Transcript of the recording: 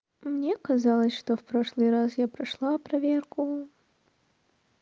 мне казалось что в прошлый раз я прошла проверку